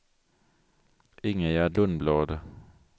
Ingegärd Lundblad